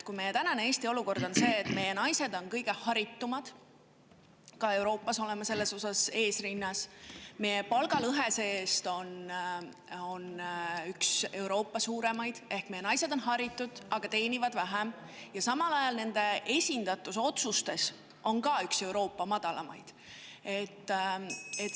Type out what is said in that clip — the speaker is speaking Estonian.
Meil on täna Eestis olukord, kus meie naised on haritumad, ka Euroopas oleme selle poolest eesrinnas, aga meie palgalõhe on see-eest üks Euroopa suurimaid ehk meie naised on haritud, aga teenivad vähem, ja samal ajal on ka nende esindatus otsustus üks Euroopa madalamaid.